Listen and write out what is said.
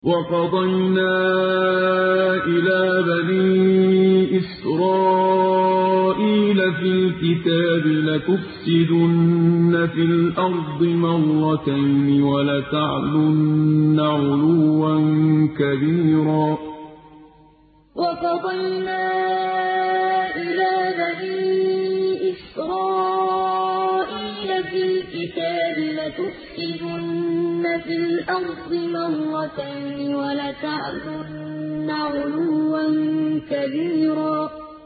وَقَضَيْنَا إِلَىٰ بَنِي إِسْرَائِيلَ فِي الْكِتَابِ لَتُفْسِدُنَّ فِي الْأَرْضِ مَرَّتَيْنِ وَلَتَعْلُنَّ عُلُوًّا كَبِيرًا وَقَضَيْنَا إِلَىٰ بَنِي إِسْرَائِيلَ فِي الْكِتَابِ لَتُفْسِدُنَّ فِي الْأَرْضِ مَرَّتَيْنِ وَلَتَعْلُنَّ عُلُوًّا كَبِيرًا